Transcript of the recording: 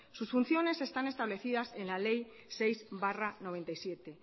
sus funciones están establecidas en la ley seis barra noventa y siete